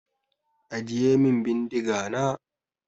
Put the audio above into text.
Ajiye min bindiga na!